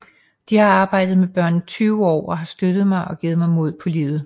De har arbejdet med børn i 20 år og har støttet mig og givet mig mod på livet